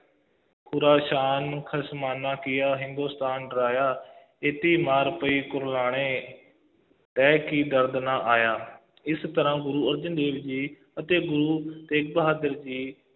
Khorasan ਖਸਮਾਨਾ ਕੀਆ ਹਿੰਦੁਸਤਾਨ ਡਰਾਇਆ, ਏਤੀ ਮਾਰ ਪਈ ਕਰਲਾਣੇ ਤੈਂ ਕੀ ਦਰਦੁ ਨ ਆਇਆ ਇਸ ਤਰ੍ਹਾ ਗੁਰੂ ਅਰਜਨ ਦੇਵ ਜੀ ਅਤੇ ਗੁਰੂ ਤੇਗ ਬਹਾਦਰ ਜੀ,